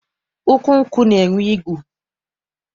Ukwu nkwụ na-enwe igu.